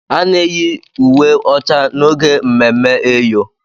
A na-eyi uwe ọcha n'oge ememme eyọ.